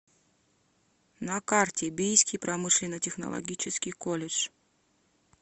на карте бийский промышленно технологический колледж